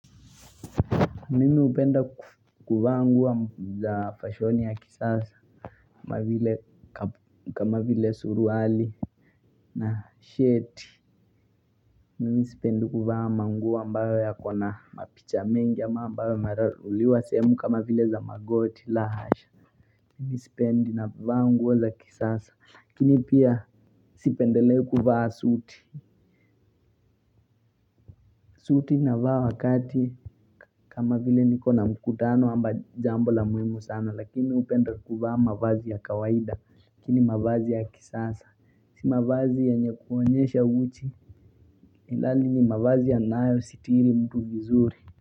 Mimi hupenda kuvaa nguo za fashoni ya kisasa kama vile suruali na sheti. Mimisipendi kuvaa manguo ambayo yakona mapicha mengi ambayo yameraruliwa sehemu kama vile za magoti la hasha. Mimisipendi navaa nguo za kisasa. Lakini pia sipendelei kuvaa suti. Suti navaaa wakati kama vile nikona mkutano ama jambo la muhimu sana lakini hupenda kuvaa mavazi ya kawaida lakini mavazi ya kisasa si mavazi yenye kuonyesha uchi ilhali ni mavazi ya nayo sitiri mtu vizuri.